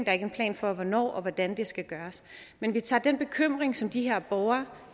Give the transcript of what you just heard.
er ikke en plan for hvornår og hvordan det skal gøres men vi tager den bekymring som de her borgere